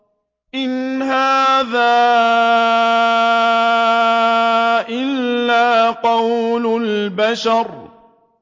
إِنْ هَٰذَا إِلَّا قَوْلُ الْبَشَرِ